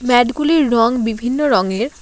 Mad -গুলির রং বিভিন্ন রঙের।